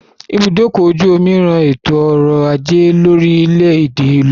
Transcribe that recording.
Ibùdókọ̀-ojú-omi ran ètò-ọrọ̀-ajé orílẹ̀-èdè lọ́wọ́